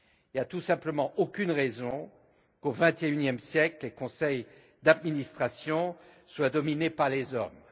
Il n'y a tout simplement aucune raison pour qu'au vingt et unième siècle, les conseils d'administration soient dominés par les hommes.